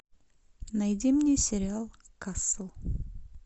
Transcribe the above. найди мне сериал касл